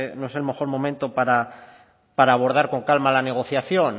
no es el mejor momento para abordar con calma la negociación